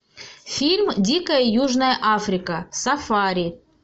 фильм дикая южная африка сафари